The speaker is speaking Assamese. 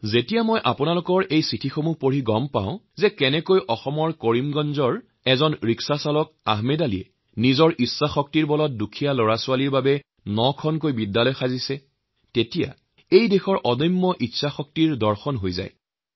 যেতিয়া আপোনালোকে পঠোৱা চিঠি পঢ়ি মই জানিব পাৰো যে অসমৰ কৰিমগঞ্জ জিলাৰ আহমদ আলি নামৰ এগৰাকী ৰিক্সাচালকে নিজৰ ইচ্ছাশক্তিৰ বলত দুখীয়া শিশুসকলৰ বাবে নখন স্কুল গঢ়ি দিছে তেতিয়াই এই দেশৰ অদম্য ইচ্ছাশক্তিৰ পৰিচয় পালো